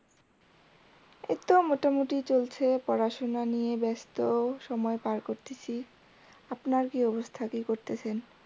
এই তো মোটামুটি চলছে পড়াশোনা নিয়ে ব্যাস্ত সময় পার করতাসি আপনার কি অবস্থা কি করতেসেন?